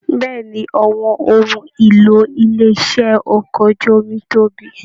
Bẹ̀ẹ́ni, àwọn ohùn ìlò ilé iṣẹ okọ̀ ojú omi tóbi.